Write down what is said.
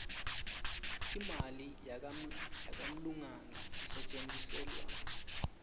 imali yakangluane isetjentiselwani